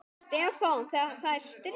Stefán, það er stríð.